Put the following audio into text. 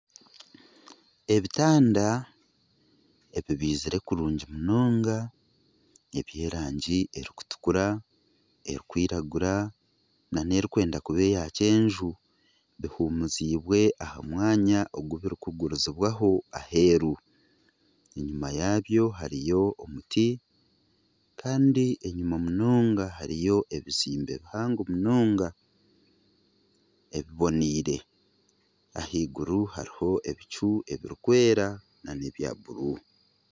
Ebitanda bibirize kurungi munonga ebyerangi erikutukura erikwiragura nana erikwenda kuba eya kyenju bihumuziibwe aha mwanya ogu birikugurizibwaho aheeru enyuma yaabyo hariho omuti kandi enyuma munonga hariyo ebizimbe bihango munonga ebiboneire ahaiguru hariyo ebicu ebirikwera nana ebya bururu